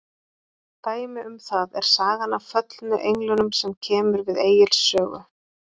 dæmi um það er sagan af föllnu englunum sem kemur við egils sögu